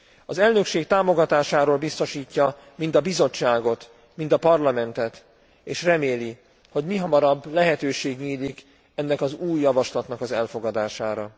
Az elnökség támogatásáról biztosítja mind a Bizottságot, mind a Parlamentet, és reméli, hogy mihamarabb lehetőség nyílik ennek az új javaslatnak az elfogadására.